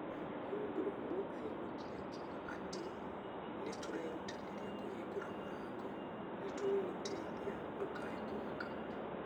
mũndũ ũmwe aiguĩkire akiuga ati nĩtũrerutanĩria kũhingũr mũrango nĩtũgũgũteitha ndũkae kũmaka